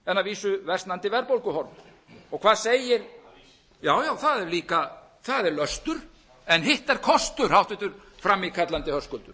vísu versnandi verðbólguhorfur og hvað segir já já það er löstur en hitt er kostur háttvirtur frammíkallandi höskuldur